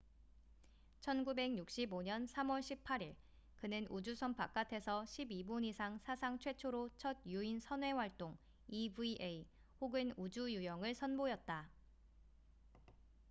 "1965년 3월 18일 그는 우주선 바깥에서 12분 이상 사상 최초로 첫 유인 선외 활동 eva 혹은 "우주 유영""을 선보였다.